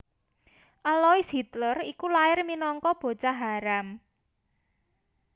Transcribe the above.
Alois Hitler iku lair minangka bocah haram